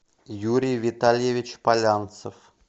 юрий витальевич полянцев